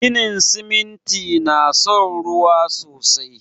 Ginin siminti na son ruwa sosai